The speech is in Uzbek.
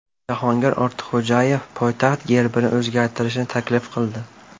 Jahongir Ortiqxo‘jayev poytaxt gerbini o‘zgartirishni taklif qildi.